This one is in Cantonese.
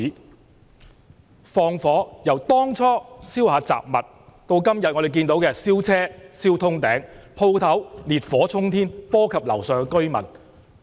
他們縱火的行為，由當初燒雜物，到今天我們看到的燒車燒通頂，鋪頭烈燄沖天，波及樓上居民。